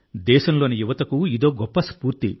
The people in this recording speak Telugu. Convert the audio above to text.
దేశంలోని యువతకు ఇదో గొప్ప స్ఫూర్తి